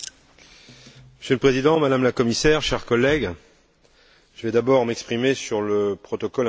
Monsieur le Président, Madame la Commissaire, chers collègues, je vais d'abord m'exprimer sur le protocole provisoire.